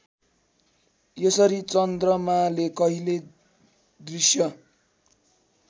यसरी चन्द्रमाले कहिले दृष्य